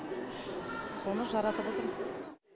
соны жаратып отырмыз